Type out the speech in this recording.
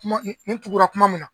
Ne tugura kuma min na